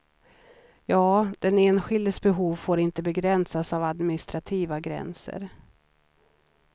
Ja, den enskildes behov får inte begränsas av administrativa gränser.